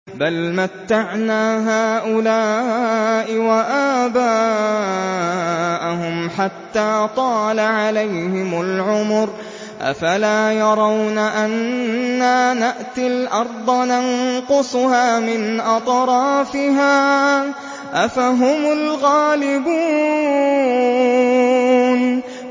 بَلْ مَتَّعْنَا هَٰؤُلَاءِ وَآبَاءَهُمْ حَتَّىٰ طَالَ عَلَيْهِمُ الْعُمُرُ ۗ أَفَلَا يَرَوْنَ أَنَّا نَأْتِي الْأَرْضَ نَنقُصُهَا مِنْ أَطْرَافِهَا ۚ أَفَهُمُ الْغَالِبُونَ